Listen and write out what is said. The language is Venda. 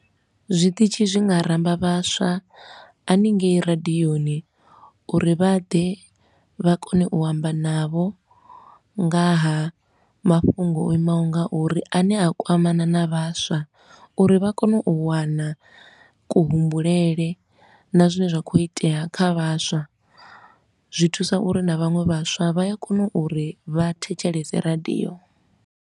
Zwiṱitshi zwi nga ramba vhaswa haningei radioni, uri vha ḓe vha kone u amba navho nga ha mafhungo o imaho nga uri, a ne a kwamana na vhaswa. Uri vha kone u wana kuhumbulele na zwine zwa khou itea kha vhaswa, zwi thusa uri na vhaṅwe vhaswa vha ya kona uri vha thetshelese radio.